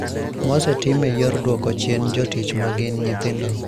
Mosetim e yor duoko chien jotich magin nyithindo